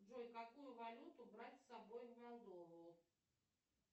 джой какую валюту брать с собой в молдову